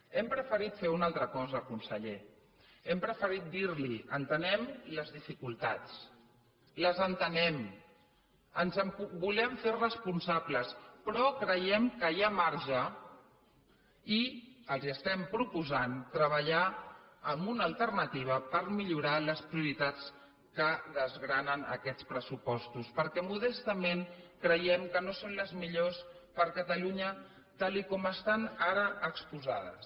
hem preferit fer una altra cosa conseller hem preferit dir li entenem les dificultats les entenem ens en volem fer responsables però creiem que hi ha marge i els estem proposant treballar en una alternativa per millorar les prioritats que desgranen aquests pressupostos perquè modestament creiem que no són les millors per a catalunya tal com estan ara exposades